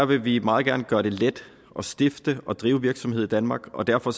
vil vi meget gerne gøre det let at stifte og drive virksomhed i danmark og derfor